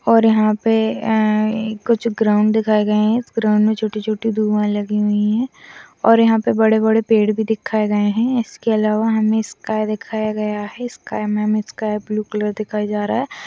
और यहाँ पे एण्ड कुछ ग्राउन्ड दिखाए गए हैं इस ग्राउन्ड में छोटे-छोटे धुआँ लगी हुई हैं और यहाँ पे बड़े-बड़े पेड़ भी दिखाए गए हैं इसके अलावा हमें स्काइ दिखाया गया है स्काइ में हमें स्काइ ब्लू कलर दिखाई जा रहा है।